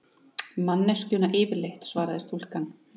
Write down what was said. Manneskjuna yfirleitt, svaraði stúlkan.